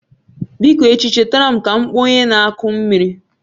Biko echi chetara m ka m kpọọ onye na-akụ mmiri